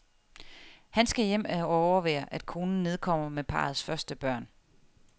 Han skal hjem og overvære, at konen nedkommer med parrets første børn.